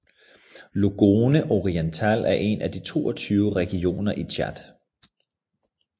Logone Oriental er en af de 22 regioner i Tchad